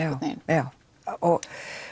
já og